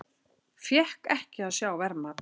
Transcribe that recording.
Fékk ekki að sjá verðmat